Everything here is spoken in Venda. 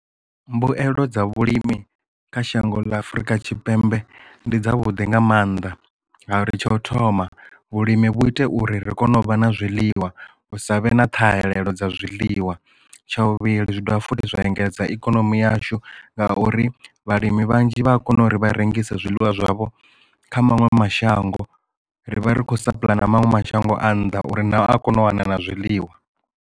Mbuyelo dza vhulimi kha shango ḽa afrika tshipembe ndi dza vhuḓi nga mannḓa ngauri tsha u thoma vhulimi vhu ite uri ri kone u vha na zwiḽiwa u sa vhe na ṱhahelelo dza zwiḽiwa tsha vhuvhili zwi dovha futhi zwa engedza ikonomi yashu ngauri vhalimi vhanzhi vha a kona uri vha rengisa zwiḽiwa zwavho kha maṅwe mashango ri vha ri khou sa pulaya na maṅwe mashango a nnḓa uri naho a kone u wana na zwiḽiwa.